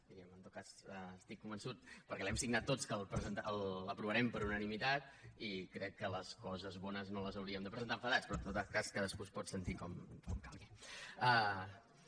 vull dir en tot cas estic convençut perquè l’hem signat tots que l’aprovarem per unanimitat i crec que les coses bones no les hauríem de presentar enfadats però en tot cas cadascú es pot sentir com calgui